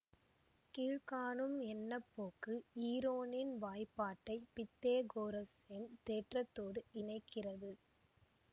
கீழ் காணும் எண்ணப்போக்கு ஈரோனின் வாய்பாட்டை பித்தேகோரசின் தேற்றத்தோடு இணைக்கிறது